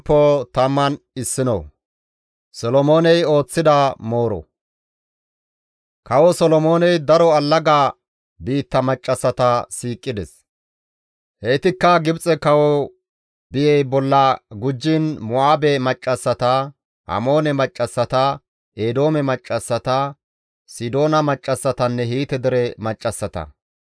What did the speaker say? Kawo Solomooney daro allaga biitta maccassata siiqides; heytikka Gibxe kawo biyey bolla gujjiin Mo7aabe maccassata, Amoone maccassata, Eedoome maccassata, Sidoona maccassatanne Hiite dere maccassata.